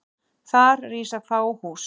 Þar rísa fá hús.